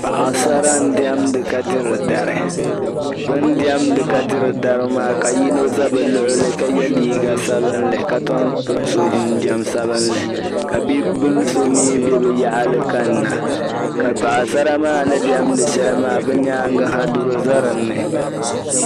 Paɣisara n-diɛmdi ka diri dari. Bɛ ni diɛmdi ka diri dari maa ka yino za bɛ luɣili ka ye liiga sabilinli ka ton so jinjam sabilinli ka bibila so mi be bɛ yaɣili kanna ka paɣisara maa ni diɛmdi shɛli maa bɛ nyaaŋga ha duri be dinni.